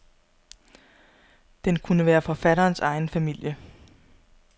Den kunne være forfatterens egen familie.